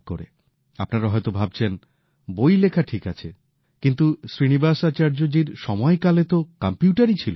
আপনারা হয়তো ভাবছেন বই লেখা ঠিক আছে কিন্তু শ্রীনিবাসাচার্যজির সময়কালে তো কম্পিউটার ছিলই না